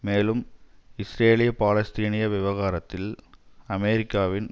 மேலும் இஸ்ரேலிய பாலஸ்தீனிய விவகாரத்தில் அமெரிக்காவின்